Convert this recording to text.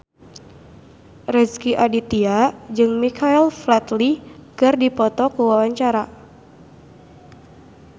Rezky Aditya jeung Michael Flatley keur dipoto ku wartawan